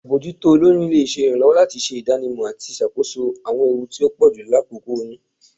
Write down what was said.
Abojuto aboyun le ṣe iranlọwọ lati ṣe idanimọ ati ṣakoso awọn ewu ti o pọju lakoko oyun.